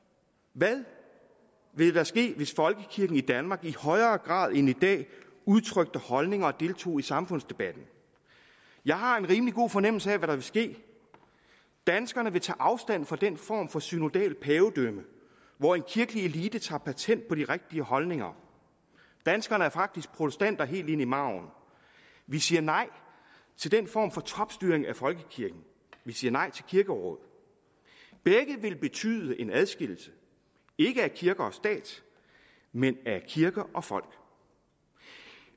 hvad ville der ske hvis folkekirken i danmark i højere grad end i dag utrykte holdninger og deltog i samfundsdebatten jeg har en rimelig god fornemmelse af hvad der ville ske danskerne ville tage afstand fra den form for synodalt pavedømme hvor en kirkelig elite tager patent på de rigtige holdninger danskerne er faktisk protestanter helt ind i marven vi siger nej til den form for topstyring af folkekirken vi siger nej til kirkeråd begge vil betyde en adskillelse ikke af kirke og stat men af kirke og folk